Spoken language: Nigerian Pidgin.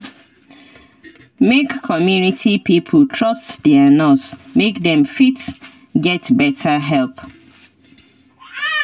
make community pipo trust their nurse make dem fit get better help